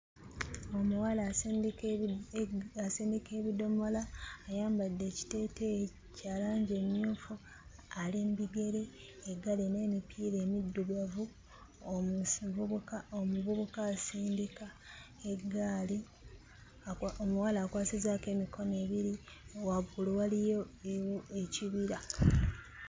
Omuwala asindika ebi asindika ebidomola, ayambadde ekiteeteeyi kya langi emmyufu, ali mu bigere, eggaali erina emipiira emiddugavu, omuvubuka asindika eggaali, omuwala akwasizzaako emikono ebiri, waggulu waliyo ekibira.